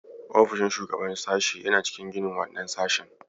Ofishin shugaban sashe yana cikin ginin wannan sashen.